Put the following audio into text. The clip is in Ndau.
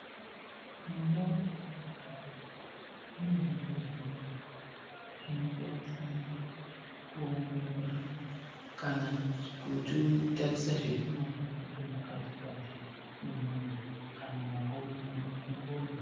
Mundau metinogara mune zvibhedhlera zvinobatsira kuongorora kana kutitarisa zvetinozwa ngechemukati-kati mwenyama kana mumakodo mwedu kuti tipone.